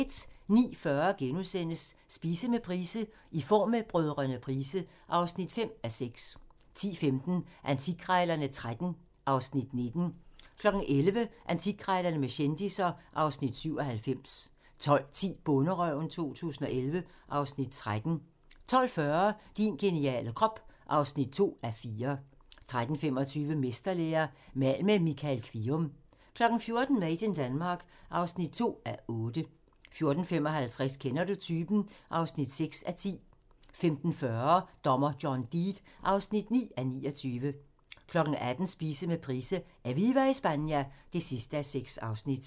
09:40: Spise med Price: "I form med Brdr. Price" (5:6)* 10:15: Antikkrejlerne XIII (Afs. 19) 11:00: Antikkrejlerne med kendisser (Afs. 97) 12:10: Bonderøven 2011 (Afs. 13) 12:40: Din geniale krop (2:4) 13:25: Mesterlære – mal med Michael Kvium 14:00: Made in Denmark (2:8) 14:55: Kender du typen? (6:10) 15:40: Dommer John Deed (9:29) 18:00: Spise med Price: "Eviva Espana" (6:6)